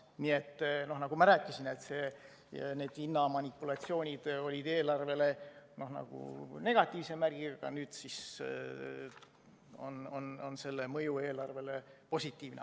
Nii et nagu ma rääkisin, need hinnamanipulatsioonid olid eelarvele nagu negatiivse märgiga, aga nüüd on see mõju eelarvele positiivne.